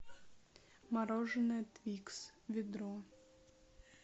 мороженое твикс ведро